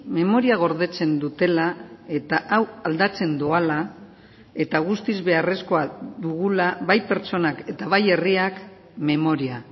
memoria gordetzen dutela eta hau aldatzen doala eta guztiz beharrezkoa dugula bai pertsonak eta bai herriak memoria